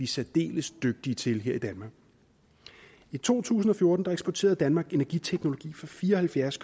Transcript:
særdeles dygtige til her i danmark i to tusind og fjorten eksporterede danmark energiteknologi for fire og halvfjerds